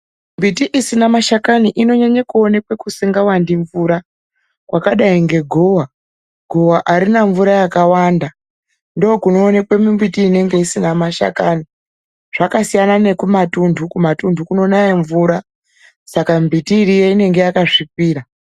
Mbiti isina mashakani inonyanye kuonekwa kusingawandi mvura, kwakadayi ngegowa. Gowa arina mvura yakawanda, ndokunoonekwe mimbuti inenge isina mashakani. Zvakasiyana nekumatundu. Kumatundu kunonaya mvura, saka mimbuti iriyo inenge yakasvipira.